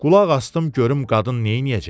Qulaq asdım görüm qadın neyləyəcək.